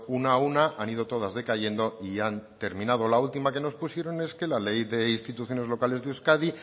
una a una han ido todas decayendo y han terminado la última que nos pusieron es que la ley de instituciones locales de euskadi